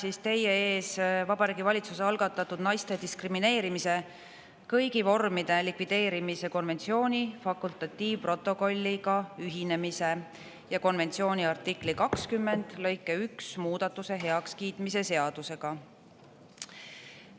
Olen teie ees Vabariigi Valitsuse algatatud naiste diskrimineerimise kõigi vormide likvideerimise konventsiooni fakultatiivprotokolliga ühinemise ja konventsiooni artikli 20 lõike 1 muudatuse heakskiitmise seadusega.